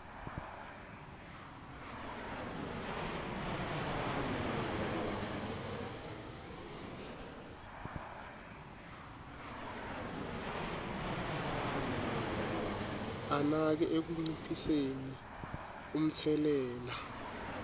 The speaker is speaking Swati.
anake ekunciphiseni umtselela